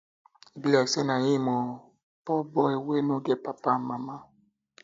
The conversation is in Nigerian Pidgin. e be like say na him oo poor boy wey no get papa and mama